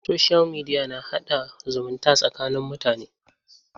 Soshiyal mediya na haɗa zumunta tsakanin mutane.